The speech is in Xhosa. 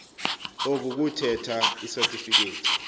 oku kuthetha isatifikethi